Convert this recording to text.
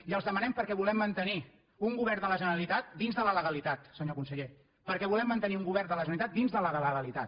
i els ho demanem perquè volem mantenir un govern de la generalitat dins de la legalitat senyor conseller perquè volem mantenir un govern de la generalitat dins de la legalitat